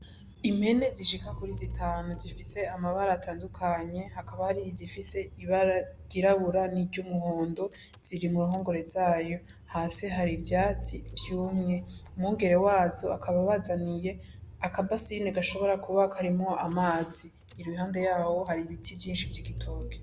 Impene zishika kuri zi tanu zifise amabara atandukanye akaba hari izifise ibara ry'irabura ni ry'umuhondo ziri muruhongore zayo, Hasi hari ivyatsi vyumye ,Umwungere wazo akaba abazaniye akabasini gashobora kuba karimwo amazi iruhande yaho hari ibiti vyishi vy'igitoki.